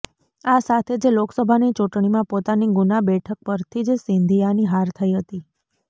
આ સાથે જ લોકસભાની ચૂંટણીમાં પોતાની ગૂના બેઠક પરથી જ સિંધિયાની હાર થઈ હતી